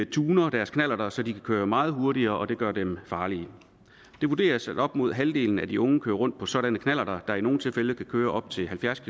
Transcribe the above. tuner deres knallert så de kan køre meget hurtigere og det gør dem farlige det vurderes at op mod halvdelen af de unge kører rundt på sådanne knallerter der i nogle tilfælde kan køre op til halvfjerds